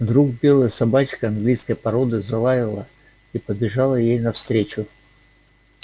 вдруг белая собачка английской породы залаяла и побежала ей навстречу